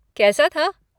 कैसा था?